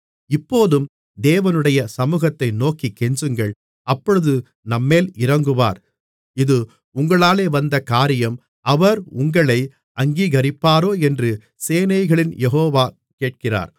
இப்போதும் தேவனுடைய சமுகத்தை நோக்கிக் கெஞ்சுங்கள் அப்பொழுது நம்மேல் இரங்குவார் இது உங்களாலே வந்த காரியம் அவர் உங்களை அங்கீகரிப்பாரோ என்று சேனைகளின் யெகோவா கேட்கிறார்